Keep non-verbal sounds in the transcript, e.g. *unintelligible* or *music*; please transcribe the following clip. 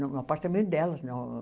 Não, no apartamento delas. *unintelligible*